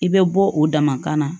I bɛ bɔ o damakan na